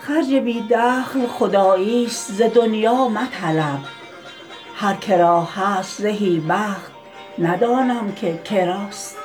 خرج بی دخل خدایی است ز دنیا مطلب هر که را هست زهی بخت ندانم که که راست